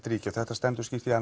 ríki og þetta stendur skýrt í